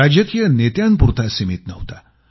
राजकीय नेत्यांपुरता सीमित नव्हता